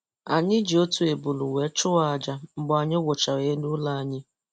Anyị ji otu ebule wee chụọ àjà mgbe anyị wuchara elu ụlọ anyị.